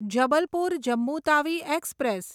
Jabalpur Jammu Tawi express